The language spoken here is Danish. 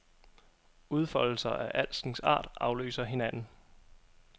Udfoldelser af alskens art afløser hinanden.